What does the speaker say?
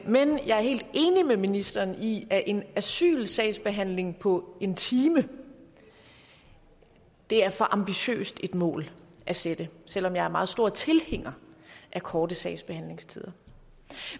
men jeg er helt enig med ministeren i at en asylsagsbehandling på en time er for ambitiøst et mål at sætte selv om jeg er meget stor tilhænger af korte sagsbehandlingstider